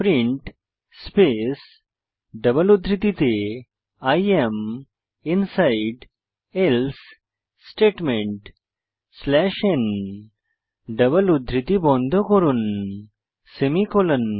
print space double উদ্ধৃতিতে I am inside else statement slash n double উদ্ধৃতি বন্ধ করুন সেমিকোলন